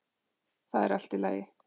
Það er allt í lagi.